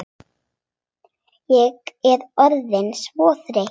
Ég er orðin svo þreytt.